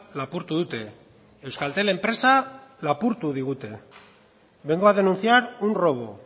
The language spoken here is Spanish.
lapurtu dute euskaltel enpresa lapurtu digute vengo a denunciar un robo